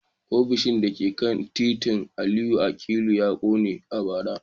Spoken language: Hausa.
Ofishin da ke titin Aliyu Akilu ya kone a bara